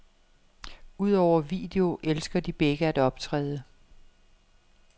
Udover video elsker de begge at optræde.